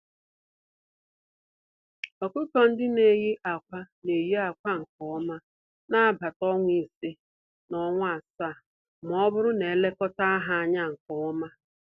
Ọkụkọ-ndị-neyi-ákwà n'eyi ákwà nkè ọma nagbata ọnwa ise, na ọnwa asaá, mọbụrụ na elekọta ha ányá nke ọma.